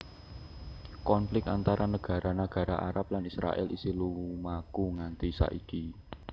Konflik antara nagara nagara Arab lan Israèl isih lumaku nganti saiki